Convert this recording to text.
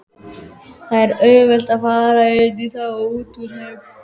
Það er auðvelt að fara inní þá og útúr þeim.